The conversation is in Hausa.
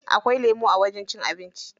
Akwai lemu a wajen cin abinci.